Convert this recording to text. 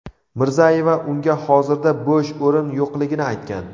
Mirzayeva unga hozirda bo‘sh o‘rin yo‘qligini aytgan.